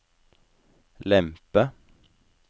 lempe